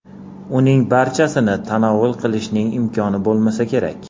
Uning barchasini tanovul qilishning imkoni bo‘lmasa kerak.